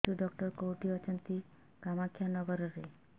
ଶିଶୁ ଡକ୍ଟର କୋଉଠି ଅଛନ୍ତି କାମାକ୍ଷାନଗରରେ